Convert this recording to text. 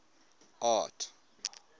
art